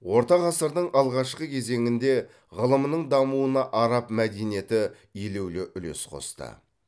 орта ғасырдың алғашқы кезеңінде ғылымның дамуына араб мәдениеті елеулі үлес қосты